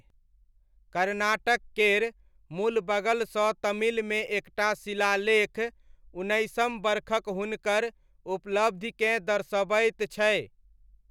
कर्नाटक केर मुलबगलसँ तमिलमे एक टा शिलालेख उन्नैसम बरखक हुनकर उपलब्धिकेँ दर्शबैत छै।